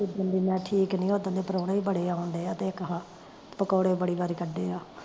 ਜਿਦਣ ਦੀ ਮੈਂ ਠੀਕ ਨੀ, ਓਦਣ ਦੇ ਪ੍ਰਹੁਣੇ ਵੀ ਬੜੇ ਆਉਂਡੇ ਆ, ਤੇ ਇੱਕ ਆਹਾ ਪਕੋੜੇ ਬੜੇ ਵਾਰੀ ਕੱਢੇ ਆ